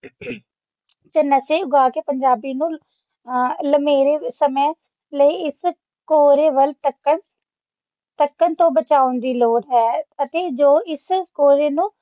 ਤੇ ਨਸ਼ੇ ਉਗਾ ਕੇ ਪੰਜਾਬੀ ਨੂੰ ਲੰਮੇ ਸਮੇਂ ਲਈ ਇਸ ਭੋਲੇ ਵੱਲ ਤੱਕਣ ਭਟਕਣ ਤੋਂ ਬਚਾਉਣ ਦੀ ਲੋੜ ਹੈ ਅਤੇ ਜੋ ਇਸ ਕੋਹਰੇ ਨੂੰ